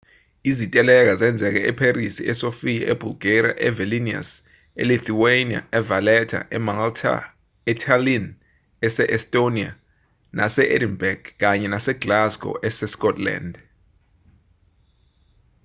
iziteleka zenzeke epherisi e-sofia e-bulgaria, e-vilnius e-lithuania e-valetta emalta etallinn ese-estonia nase-edinburgh kanye nase-glasgow ese-scotland